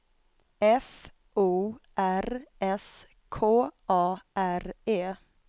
F O R S K A R E